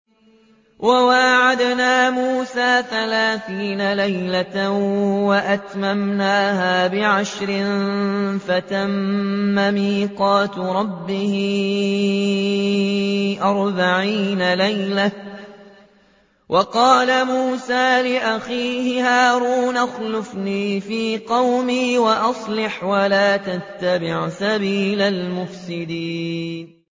۞ وَوَاعَدْنَا مُوسَىٰ ثَلَاثِينَ لَيْلَةً وَأَتْمَمْنَاهَا بِعَشْرٍ فَتَمَّ مِيقَاتُ رَبِّهِ أَرْبَعِينَ لَيْلَةً ۚ وَقَالَ مُوسَىٰ لِأَخِيهِ هَارُونَ اخْلُفْنِي فِي قَوْمِي وَأَصْلِحْ وَلَا تَتَّبِعْ سَبِيلَ الْمُفْسِدِينَ